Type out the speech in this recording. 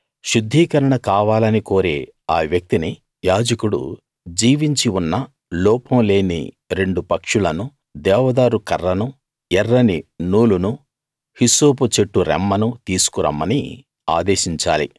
శుద్ధీకరణ కావాలని కోరే ఆ వ్యక్తిని యాజకుడు జీవించి ఉన్న లోపం లేని రెండు పక్షులనూ దేవదారు కర్రనూ ఎర్రని నూలునూ హిస్సోపు చెట్టు రెమ్మనూ తీసుకు రమ్మని ఆదేశించాలి